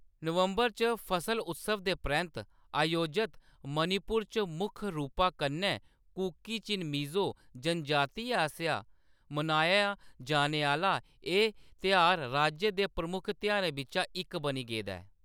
नवंबर च फसल उत्सव दे परैंत्त आयोजत, मणिपुर च मुक्ख रूपा कन्ने कुकी-चिन-मिज़ो जनजातियें आसेआ मनाया जाने आह्‌‌‌ला एह्‌‌ तेहार राज्य दे प्रमुख तेहारें बिच्चा इक बनी गेदा ऐ।